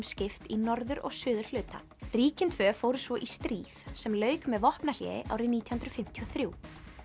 skipt í norður og suðurhluta ríkin tvö fóru svo í stríð sem lauk með vopnahléi árið nítján hundruð fimmtíu og þrjú